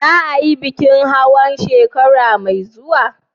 Za a yi bikin hawa a shekara mai zuwa?